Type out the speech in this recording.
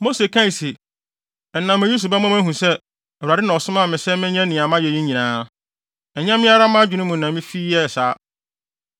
Mose kae se, “Ɛnam eyi so bɛma moahu sɛ, Awurade na ɔsomaa me sɛ menyɛ nea mayɛ yi nyinaa. Ɛnyɛ me ara mʼadwene mu na mifi yɛɛ saa.